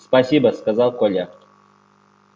спасибо сказал коля